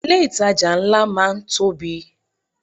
Ilé ìtajà ńlá máa ń tóbi.